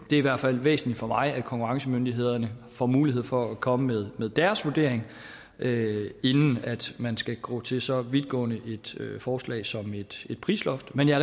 i hvert fald væsentligt for mig at konkurrencemyndighederne får mulighed for at komme med deres vurdering inden man skal gå til så vidtgående et forslag som et prisloft men jeg